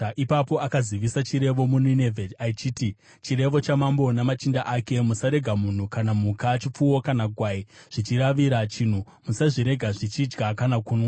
Ipapo akazivisa chirevo muNinevhe, achiti: “Chirevo chamambo namachinda ake: “Musarega munhu kana mhuka, chipfuwo kana gwai, zvichiravira chinhu; musazvirega zvichidya kana kunwa.